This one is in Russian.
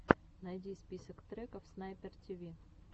найди список треков снайпер тиви